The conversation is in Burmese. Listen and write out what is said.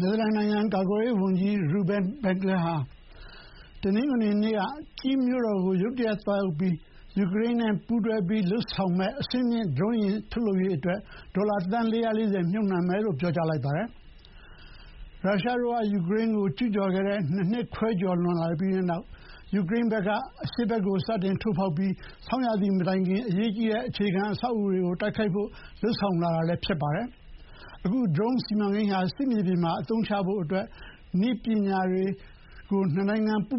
နယ်သာလန်နိုင်ငံကာကွယ်ရေးဝန်ကြီး Ruben Brekelmans ဟာ တနင်္ဂနွေနေ့က Kyiv မြို့တော်ကို ရုတ်တရက်သွားရောက်ခဲ့ပြီး ယူကရိန်းနဲ့ပူးတွဲလုပ်ဆောင်မယ့် အဆင့်မြင့်ဒရုန်းယာဥ်ထုတ်လုပ်ဖို့ ဒေါ်လာသန်း ၄၄၀ မြှုပ်နှံမယ်လို့ ပြောကြားလိုက်ပါတယ်။ ရုရှားတို့က ယူကရိန်းကိုကျူးကျော်ခဲ့တဲ့ ၂ နှစ်ခွဲကျော်လွန်လာပြီးတဲ့နောက် ယူကရိန်းဘက်က အရှေ့ဖက်ကို စတင်ထိုးဖောက်လာပြီး ဆောင်းရာသီမတိုင်ခင် အရေးကြီးတဲ့အခြေခံအဆောက်အအုံ တွေကို တိုက်ခိုက်ဖို့ လုပ်ဆောင်လာတာလည်း ဖြစ်ပါတယ်။ အခုဒရုန်းစီမံကိန်းဟာ စစ်မြေပြင်မှာ အသုံးချဖို့ နှစ်နိုင်ငံနည်းပညာတွေ ပူး